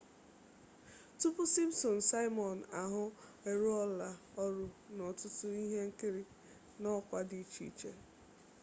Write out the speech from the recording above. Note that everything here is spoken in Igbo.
tupu simpsons simon ahụ arụọla ọrụ n'ọtụtụ ihe nkiri n'ọkwa dị iche iche